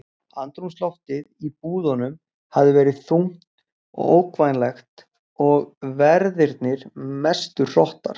Andrúmsloftið í búðunum hafi verið þungt og ógnvænlegt og verðirnir mestu hrottar.